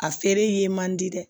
A feere ye man di dɛ